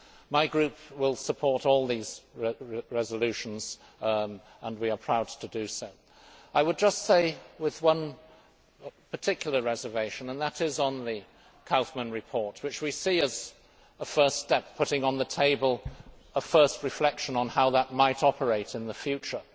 My group will support all these resolutions and we are proud to do so, I would just say, with one particular reservation, and that is on the Kaufmann report, which we see as a first step putting on the table a first reflection on how that might operate in the future.